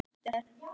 Birta Sif.